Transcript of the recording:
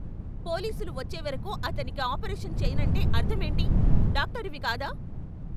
పోలీసులు వచ్చేవరకు అతనికి ఆపరేషను చెయ్యనంటే అర్ధమేంటి? డాక్టరువి కాదా?